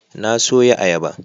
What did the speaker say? Na soya ayaba